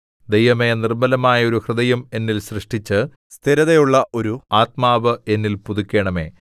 ദൈവമേ നിർമ്മലമായ ഒരു ഹൃദയം എന്നിൽ സൃഷ്ടിച്ച് സ്ഥിരതയുള്ള ഒരു ആത്മാവ് എന്നിൽ പുതുക്കണമേ